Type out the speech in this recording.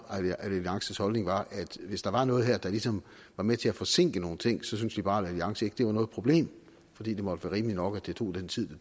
alliances holdning at hvis der var noget her der ligesom var med til at forsinke nogle ting syntes liberal alliance ikke det var noget problem fordi det måtte være rimeligt nok at det tog den tid